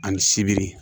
Ani sibiri